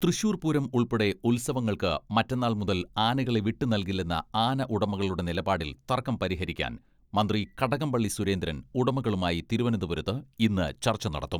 തൃശൂർ പൂരം ഉൾപ്പെടെ ഉത്സവങ്ങൾക്ക് മറ്റന്നാൾ മുതൽ ആനകളെ വിട്ടു നൽകില്ലെന്ന ആന ഉടമകളുടെ നിലപാടിൽ തർക്കം പരിഹരിക്കാൻ മന്ത്രി കടകംപള്ളി സുരേന്ദ്രൻ ഉടമകളുമായി തിരുവനന്തപുരത്ത് ഇന്ന് ചർച്ച നടത്തും.